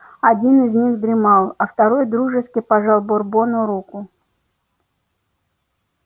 один из них дремал а второй дружески пожал бурбону руку